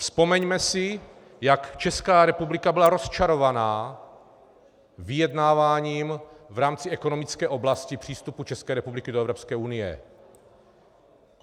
Vzpomeňme si, jak Česká republika byla rozčarovaná vyjednávám v rámci ekonomické oblasti přístupu České republiky do Evropské unie.